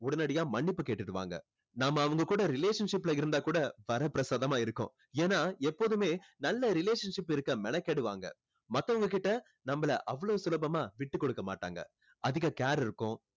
உடனடியா மன்னிப்பு கேட்டுடுவாங்க நம்ம அவங்க கூட relationship ல இருந்தா கூட வரப்பிரசாதமா இருக்கும் ஏன்னா எப்போதுமே நல்ல relationship இருக்க மெனக்கெடுவாங்க மத்தவங்ககிட்ட நம்மளை அவளோ சுலபமா விட்டு கொடுக்க மாட்டாங்க அதிக care இருக்கும்